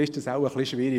Das ist eher schwierig.